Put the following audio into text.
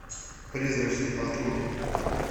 призрачный патруль